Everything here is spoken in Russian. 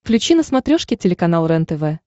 включи на смотрешке телеканал рентв